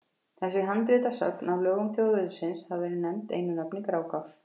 Þessi handritasöfn af lögum þjóðveldisins hafa verið nefnd einu nafni Grágás.